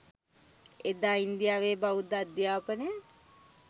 එදා ඉන්දියාවේ බෞද්ධ අධ්‍යාපනය